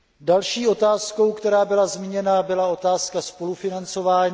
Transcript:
Další otázkou, která byla zmíněna, byla otázka spolufinancování.